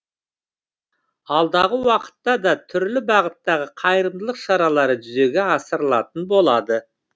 алдағы уақытта да түрлі бағыттағы қайырымдылық шаралары жүзеге асырылатын болады